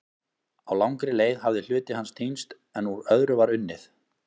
Á langri leið hafði hluti hans týnst en úr öðru var unnið.